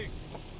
Maşın.